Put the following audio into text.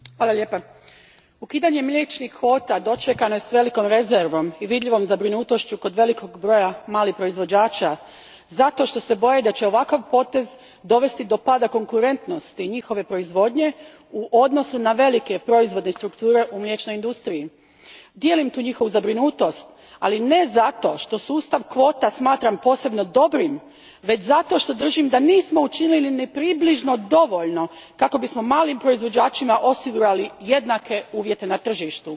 Gospođo predsjednice, ukidanje mliječnih kvota dočekano je s velikom rezervom i vidljivom zabrinutošću kod velikog broja malih proizvođača zato što se boje da će ovakav potez dovesti do pada konkurentnosti njihove proizvodnje u odnosu na velike proizvodne strukture u mliječnoj industriji. Dijelim tu njihovu zabrinutost, ali ne zato što sustav kvota smatram posebno dobrim, već zato što držim da nismo učinili ni približno dovoljno kako bismo malim proizvođačima osigurali jednake uvjete na tržištu.